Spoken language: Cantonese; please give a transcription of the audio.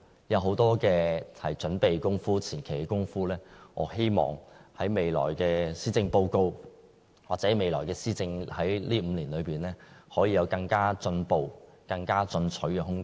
有很多準備工夫、前期工夫，我希望在未來的施政報告，或未來5年的施政當中，可以有更進步、更進取的空間。